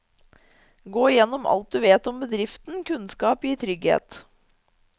Gå gjennom alt du vet om bedriften, kunnskap gir trygghet.